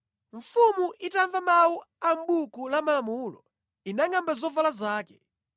Mfumu itamva mawu a mʼBuku la Malamulo, inangʼamba zovala zake.